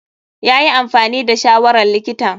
Yayi amfani da shawarar likitan.